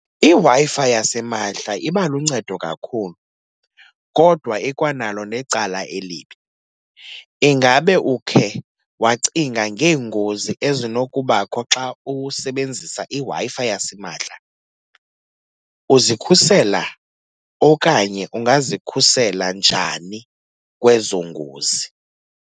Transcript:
IWi-Fi yasimahla iba luncedo kakhulu kodwa ikwanalo necala elibi. Ingabe ukhe wacinga ngeengozi ezinokubakho xa usebenzisa iWi-Fi yasimahla? Uzikhusela okanye ungazikhusela njani kwezo ngozi?